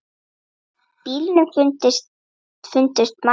Í bílnum fundust margar byssur.